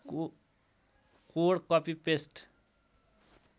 code copy paste